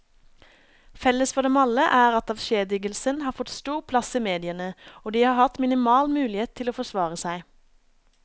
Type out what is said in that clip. Felles for dem alle er at avskjedigelsen har fått stor plass i mediene, og de har hatt minimal mulighet til å forsvare seg.